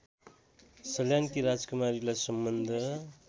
सल्यानकी राजकुमारीलाई सम्बन्ध